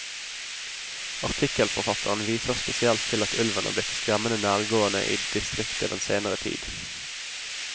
Artikkelforfatteren viser spesielt til at ulven er blitt skremmende nærgående i distriktet den senere tid.